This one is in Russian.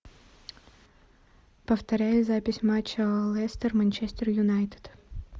повторяй запись матча лестер манчестер юнайтед